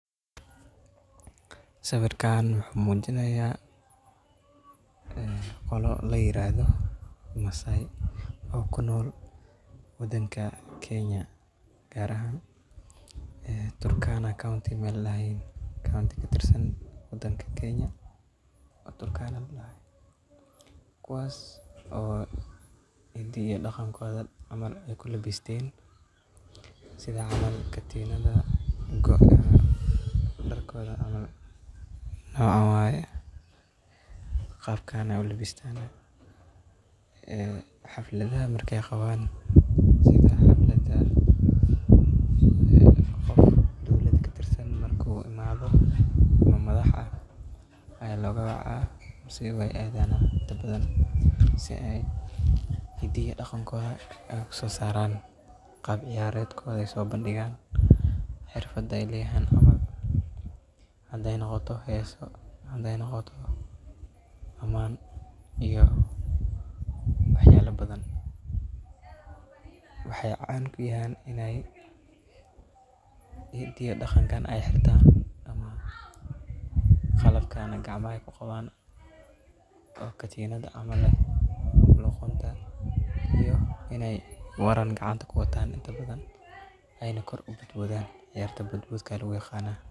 Sawirkan wuxuu mujinaya qoloo layirahdo Masai oo kunool wadanka Kenya gaar ahan Turkana county meel ladahayo waa meel katirsan wadanka Kenya oo Turkana ladaha kuwaas oo xidaa iyo daqankoda ay kulabisten sidhaa camal katinadho gooc camal, dharkoda camal nocaan waye, qaabkan ayey u labistan xafladaha markey qaban. Sidha xaflada qof dowlada katirsan marku imado ama madax ah ayaa loga wacaa mise iyaga aa ayagana inta badan si xidaa iyo dhaqanka u aha u soo saraan qaab ciyaredkoda uso bandhigan. Xirfada ay leyahan camal hadey noqoto hesoo, hadey noqoto amaan iyo wax yale kale oo badan waxa ay caan kuyahan ini xidiya dhaqankan ay xirtan, qalabkana ay gacmaha ku qaban oo katinaad camal ah ee luqunta iney waraan qacanta kuwatan inta badan oo kor u bodbodan ciyarta bodbodka aa lagu yiqana.